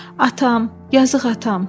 Atam, yazıq atam.